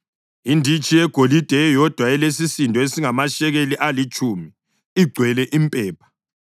inditshi yegolide eyodwa elesisindo esingamashekeli alitshumi, igcwele impepha;